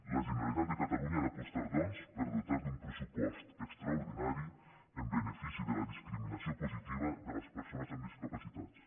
la generalitat de catalunya ha d’apostar doncs per dotar un pressupost extraordinari en benefici de la dis·criminació positiva de les persones amb discapacitats